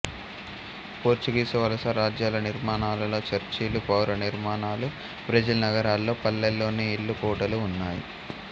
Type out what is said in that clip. Portuguese వలసరాజ్యాల నిర్మాణాలలో చర్చిలు పౌర నిర్మాణాలు బ్రెజిల్ నగరాల్లో పల్లెల్లోని ఇళ్ళు కోటలు ఉన్నాయి